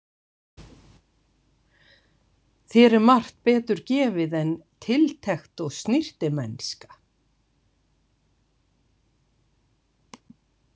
Þér er margt betur gefið en tiltekt og snyrtimennska.